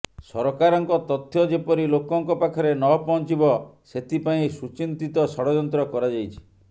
ସରକାରଙ୍କ ତଥ୍ୟ ଯେପରି ଲୋକଙ୍କ ପାଖରେ ନ ପହଞ୍ଚିବ ସେଥିପାଇଁ ସୁଚିନ୍ତିତ ଷଡ଼ଯନ୍ତ୍ର କରାଯାଇଛି